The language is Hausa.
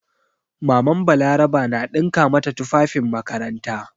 MamanBalaraba na ɗinka mata tufafin makaranta.